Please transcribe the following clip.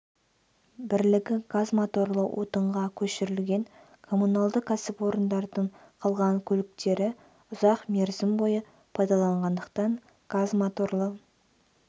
бірлігі газ моторлы отынға көшірілген коммуналды кәсіпорындардың қалған көліктері ұзақ мерзім бойы пайдаланылғандықтан газ моторлы